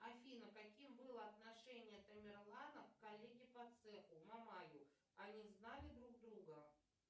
афина каким было отношение тамерлана к коллеге по цеху мамаю они знали друг друга